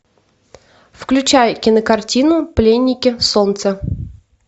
включай кинокартину пленники солнца